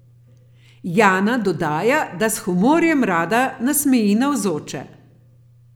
Jana dodaja, da s humorjem rada nasmeji navzoče.